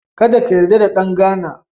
Kada ka yarda da ɗan Ghana.